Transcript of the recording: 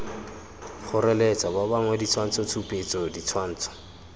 kgoreletsa ba bangwe ditshwantshotshupetso ditshwantsho